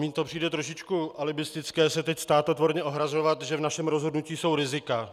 Mně to přijde trošičku alibistické se teď státotvorně ohrazovat, že v našem rozhodnutí jsou rizika.